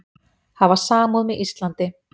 Hafa samúð með Íslandi